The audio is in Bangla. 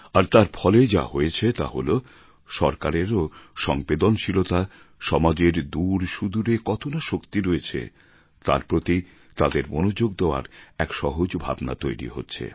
আর তার ফলে যা হয়েছে তা হল সরকারেরও সংবেদনশীলতা সমাজের দূর সুদূরে কত না শক্তি রয়েছে তার প্রতি তাদের মনোযোগ দেওয়ার এক সহজ ভাবনা তৈরি হচ্ছে